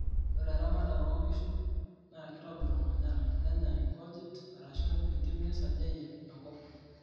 ore eramatare oo inkishun naa kitobir omanyara nenyaa inkojit arashu entim nesiajayie enkop